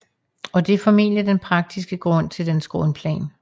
Og det er formentlig den praktiske grund til dens grundplan